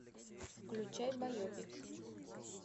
включай байопик